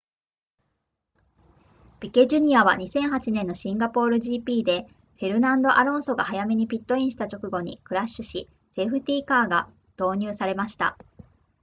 ピケ jr. は2008年のシンガポール gp でフェルナンドアロンソが早めにピットインした直後にクラッシュしセーフティーカーが導入されました